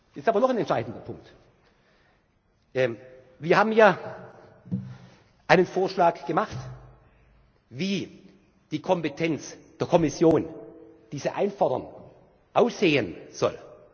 an. Jetzt aber noch ein entscheidender Punkt Wir haben ja einen Vorschlag gemacht, wie die Kompetenz der Kommission, die Sie einfordern, aussehen